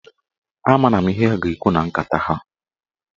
A maara m ihe ha ga-ekwu na nkata ahụ.